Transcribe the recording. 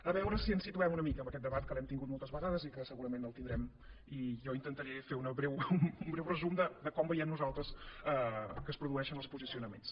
a veure si ens situem una mica amb aquest debat que l’hem tingut moltes vegades i que segurament el tindrem i jo intentaré fer un breu resum de com veiem nosaltres que es produeixen els posicionaments